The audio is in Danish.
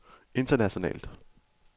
internationalt